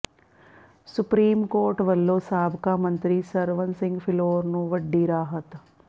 supreme court ਵੱਲੋਂ ਸਾਬਕਾ ਮੰਤਰੀ ਸਰਵਨ ਸਿੰਘ ਫਿਲੌਰ ਨੂੰ ਵੱਡੀ ਰਾਹਤ